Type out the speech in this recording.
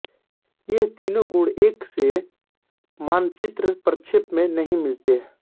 ये तीनों गुण एक से मानचित्र प्रक्षेप में नहीं मिलते